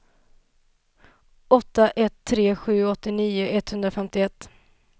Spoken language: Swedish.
åtta ett tre sju åttionio etthundrafemtioett